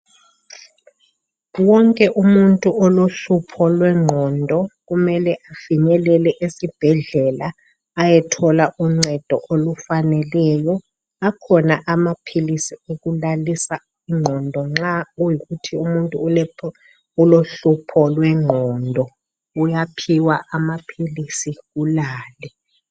wonke umuntu olohlupho lwenqondo kumele afinyelele esibhedlela ayethola uncedo olufaneleyo akhona amaphilisi okulalisa inqondo nxa kuyikuthi umuntu ulohlupho lwenqondo uyaphiwa amaphilisi ulale